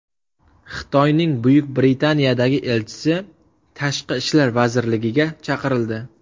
Xitoyning Buyuk Britaniyadagi elchisi Tashqi ishlar vazirligiga chaqirildi.